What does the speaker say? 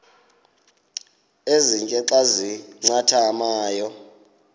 ezintia xa zincathamayo